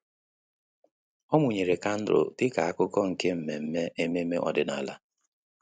Ọ́ mụ́nyèrè kandụl dịka ákụ́kụ́ nke mmemme ememe ọ́dị́nála.